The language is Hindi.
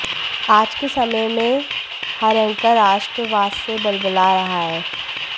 आज के समय में हर एंकर राष्ट्रवाद से बलबला रहा है